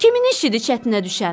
Kimin işidir çətinə düşən?